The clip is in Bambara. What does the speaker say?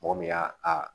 Mɔgɔ min y'a a